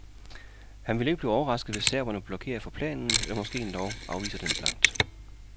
Han vil ikke blive overrasket, hvis serberne blokerer for planen eller måske endog afviser den blankt.